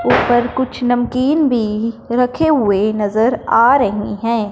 ऊपर कुछ नमकीन भी रखे हुए नजर आ रहे हैं।